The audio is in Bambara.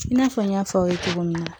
I n'a fɔ n y'a fɔ aw ye cogo min na